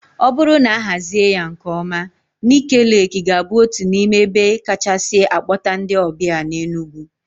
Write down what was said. O bụrụ na a hazie ya nkeọma, Ńịké Leekị ga-abụ otu n'ime ebe kachasị a kpọta ndị ọbịa n'Enugwu.